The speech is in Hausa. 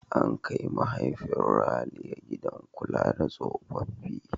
An kai mahaifin Ralia gidan kula da tsofaffi.